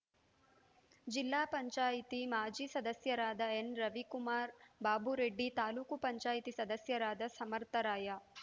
ಜಿಲ್ಲಾ ಪಂಚಾಯತಿ ಮಾಜಿ ಸದಸ್ಯರಾದ ಎನ್‌ರವಿಕುಮಾರ್‌ ಬಾಬುರೆಡ್ಡಿ ತಾಲೂಕು ಪಂಚಾಯಿತಿ ಸದಸ್ಯರಾದ ಸಮರ್ಥರಾಯ